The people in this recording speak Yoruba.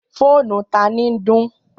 Fònú tan ní dun?